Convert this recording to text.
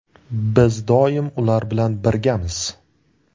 Biz doim ular bilan birgamiz.